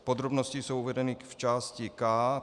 Podrobnosti jsou uvedeny v části K.